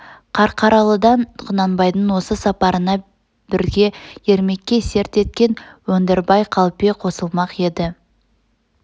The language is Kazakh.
қарқаралыдан құнанбайдың осы сапарына бірге ермекке серт еткен өндірбай қалпе қосылмақ еді